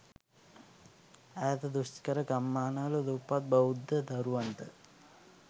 ඈත දුෂ්කර ගම්මාන වල දුප්පත් බෞද්ධ දරුවන්ට